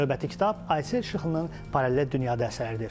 Növbəti kitab Aysel Şıxlının paralel dünyada əsəridir.